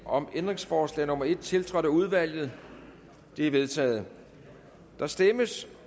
om ændringsforslag nummer en tiltrådt af udvalget det er vedtaget der stemmes